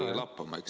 ... tõesti lappama.